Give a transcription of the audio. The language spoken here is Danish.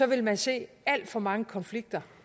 vil man se alt for mange konflikter